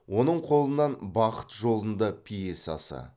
оның қолынан бақыт жолында пьесасы